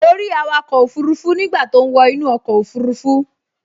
Mo rí awakọ̀ òfurufú nígbà tó ń wọ inú ọkọ̀ òfurufú